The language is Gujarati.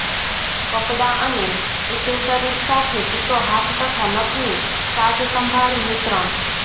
કપડાં અને એસેસરીઝ સાથે ચિત્તો હાથ તથા નખની સાજસંભાળ મિશ્રણ